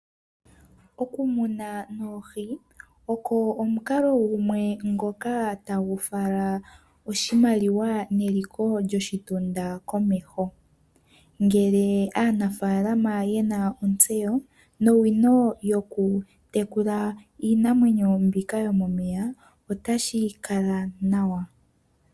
Okumuna noohi oko omukalo gumwe ngoka tagu fala oshimaliwa neliko lyoshitunda komeho. Ngele aanafalama yena otseyo nowino yokutekula iinamwenyo mbika yo momeya ota shi kala nawa.